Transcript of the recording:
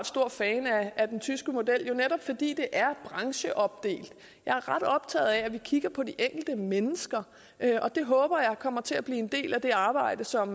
stor fan af den tyske model jo netop fordi den er brancheopdelt jeg er ret optaget af at vi kigger på de enkelte mennesker og det håber jeg kommer til at blive en del af det arbejde som